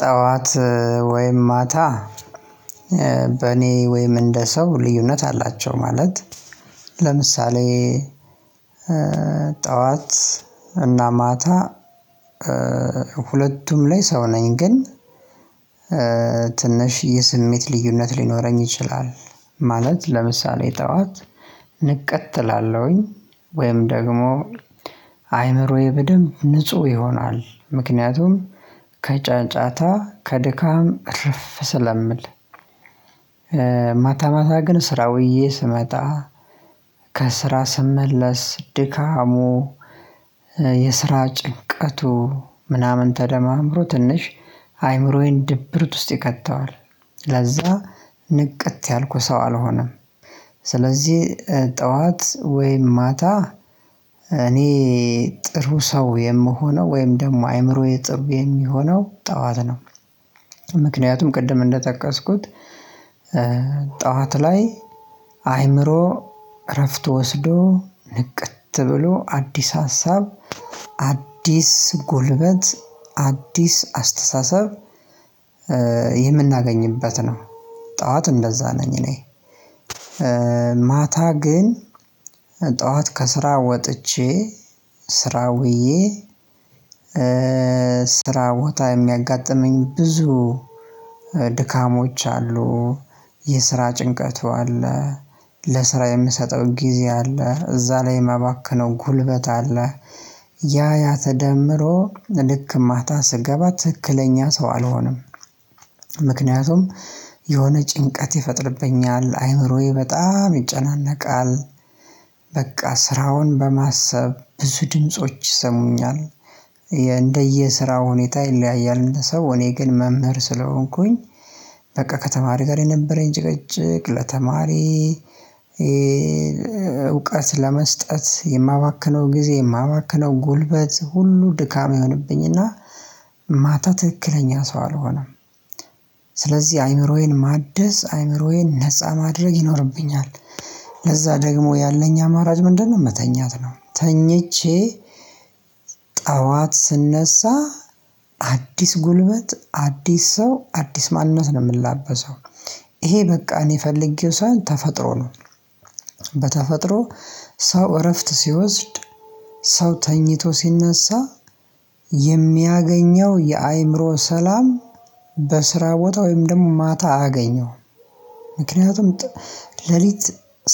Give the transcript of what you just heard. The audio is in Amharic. ጠዋት ወይም ማታ በእኔ ወይም እንደ ሰው ልዩነት አላቸው። ማለት ለምሳሌ ጠዋት እና ማታ ሁለቱም ላይ ሰው ነኝ። ግን ትንሽ የስሜት ልዩነት ሊኖረኝ ይችላል። ማለት ለምሳሌ ጠዋት ንቅት እላለሁኝ። ወይም ደግሞ አይምሮዬ በደንብ ንጹህ ይሆናል። ምክንያቱም ከጫጫታ ከድካም እረፍ ስለምል። ማታ ማታ ግን ስራ ውዬ ስመጣ ከስራ ስመለስ ድካሙ የስራ ጭንቀቱ ምናምን ተደማምሮ ትንሽ አይምሮዬን ድብርት ውስጥ ይከተዋል። ለዛ ንቅት ያልኩ ሰው አልሆንም። ስለዚህ ጠዋት ወይም ማታ እኔ ጥሩ ሰው የምሆነው ወይም ደግሞ አይምሮዬ ጥሩ የሚሆነው ጠዋት ነው። ምክንያቱም ቅድም እንደጠቀስኩት ጠዋት ላይ አይምሮ እረፍት ወስዶ ንቅት ብሎ አዲስ ሀሳብ፣ አዲስ ጉልበት፣ አዲስ አስተሳሰብ የምናገኝበት ነው። ጠዋት እንደዛ ነኝ እኔ። ማታ ግን ጠዋት ከስራ ወጥቼ ስራ ውዬ ስራ ቦታ የሚያጋጥመኝ ብዙ ድካሞች አሉ። የስራ ጭንቀቱ አለ። ለስራ የምሰጠው ጊዜ አለ። እዛ ላይ የማባከነው ጉልበት አለ። ያ ያ ተደምሮ ልክ ማታ ስገባ ትክክለኛ ሰው አልሆንም። ምክንያቱም የሆነ ጭንቀት ይፈጥርብኛል። አይምሮዬ በጣም ይጨናነቃል። በቃ ስራውን በማሰብ ብዙ ድምጾች ይሰሙኛል። እንደየ ስራው ሁኔታ ይለያያል እንደሰው። እኔ ግን መምህር ስለሆንኩኝ በቃ ከተማሪ ጋር የነበረኝ ጭቅጭቅ ለተማሪ እውቀት ለመስጠት የማባክነው ጊዜ የማባክነው ጉልበት ሁሉ ድካም ይሆንብኝና ማታ ትክክለኛ ሰው አልሆንም። ስለዚህ አይምሮዬን ማደስ አይምሮዬን ነፃ ማድረግ ይኖርብኛል። ለዛ ደግሞ ያለኝ አማራጭ ምንድነው መተኛት ነው። ተኝቼ ጠዋት ስነሳ አዲስ ጉልበት አዲስ ሰው አዲስ ማንነት ነው የምንላበሰው። ይሄ በቃ እኔ ፈልጌው ሳይሆን ተፈጥሮ ነው። በተፈጥሮ ሰው እረፍት ሲወስድ ሰው ተኝቶ ሲነሳ የሚያገኘው የአእምሮ ሰላም በስራ ቦታ ወይም ደግሞ ማታ አያገኘውም። ምክንያቱም ሌሊት